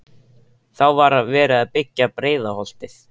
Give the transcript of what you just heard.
Þá var verið að byggja Breiðholtið.